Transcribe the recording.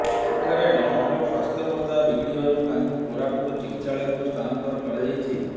ସେଠାରେ ଡମୁଙ୍କ ସ୍ୱାସ୍ଥ୍ୟବସ୍ଥା ବିଗିଡ଼ିବାରୁ ତାଙ୍କୁ କୋରାପୁଟ ଚିକିତ୍ସାଳୟକୁ ସ୍ଥାନାନ୍ତର କରାଯାଇଛି